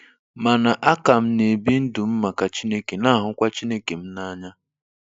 Mana a ka m na-ebi ndụ m maka Chineke na-ahụkwa Chineke m n'anya